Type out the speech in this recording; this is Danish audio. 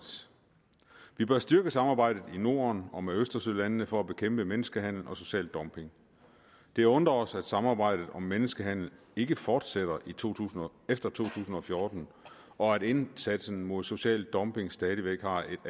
vi bør styrke samarbejdet i norden og med østersølandene for at bekæmpe menneskehandel og social dumping det undrer os at samarbejdet om menneskehandel ikke fortsætter efter to tusind og fjorten og at indsatsen mod social dumping stadig væk har